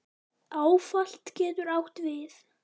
Áfall getur átt við